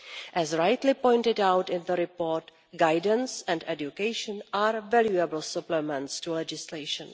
As rightly pointed out in the report, guidance and education are variable supplements to legislation.